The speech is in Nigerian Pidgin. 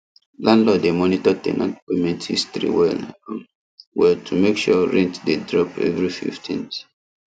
landlord dey monitor ten ant payment history well um well to make sure rent dey drop every 15th